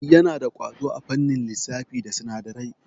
Yana da ƙwazo a fannin lissafi da sinadarai.